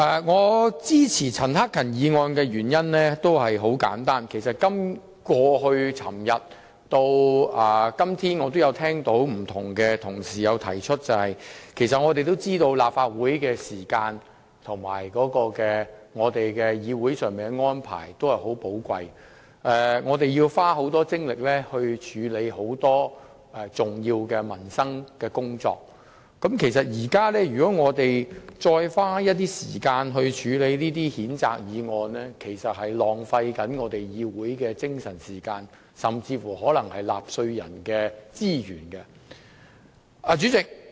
我支持陳克勤議員的議案的原因很簡單，正如多位議員也曾於這兩天發言時提及的一點，就是我們明白立法會的時間十分寶貴，會議安排緊密，並且同事須耗費許多精力處理關乎民生等的重要工作，如在此際花時間處理譴責議案，便是浪費議會的時間和資源，亦浪費了納稅人的金錢。